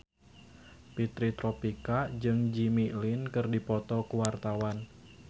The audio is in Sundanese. Fitri Tropika jeung Jimmy Lin keur dipoto ku wartawan